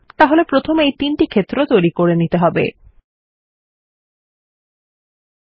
তাহলে তিনটি ক্ষেত্র এবং এটি এগুলিকে প্রথমে তৈরী করে দেবে